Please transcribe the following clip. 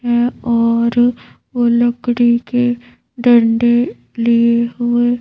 है और वो लकड़ी के डंडे लिए हुए--